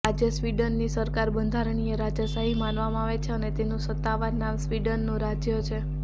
આજે સ્વીડનની સરકાર બંધારણીય રાજાશાહી માનવામાં આવે છે અને તેનું સત્તાવાર નામ સ્વીડનનું રાજ્ય છે